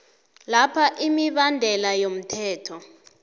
lapha imibandela yomthetho